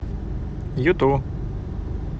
юту